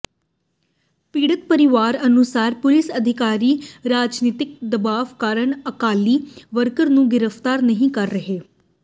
ਪੀੜਤ ਪਰਿਵਾਰ ਅਨੁਸਾਰ ਪੁਲੀਸ ਅਧਿਕਾਰੀ ਰਾਜਨੀਤਕ ਦਬਾਅ ਕਾਰਨ ਅਕਾਲੀ ਵਰਕਰ ਨੂੰ ਗ੍ਰਿਫਤਾਰ ਨਹੀਂ ਕਰ ਰਹੇ